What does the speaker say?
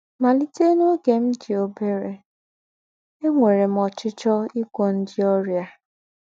“ Màlìtè n’ógè m dì óbèrè, ènwèrè m ọ́chíchíọ́ ígwọ̀ ńdị́ ọ́rịà. ”